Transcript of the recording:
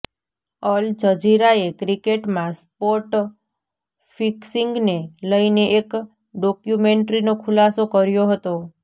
અલ જજીરાએ ક્રિકેટમાં સ્પોટ ફિક્સિંગને લઇને એક ડોક્યુમેન્ટ્રીનો ખુલાસો કર્યો હતો